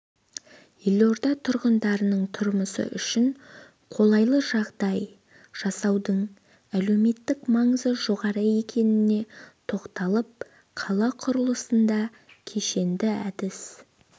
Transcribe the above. елорда тұрғындарының тұрмысы үшін қолайлыжағдай жасаудың әлеуметтік маңызы жоғары екеніне тоқталып қала құрылысында кешенді әдіс